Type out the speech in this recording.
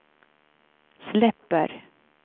släpper